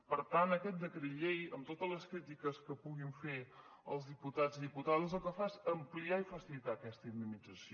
per tant aquest decret llei amb totes les crítiques que puguin fer els diputats i diputades el que fa és ampliar i facilitar aquesta indemnització